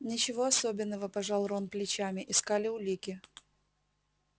ничего особенного пожал рон плечами искали улики